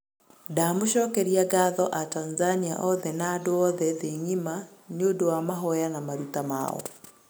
ndamũcokerĩa ngatho atanzania othe na andũ othe thĩ ng'ima niũndũ wa mahoya na marũta mao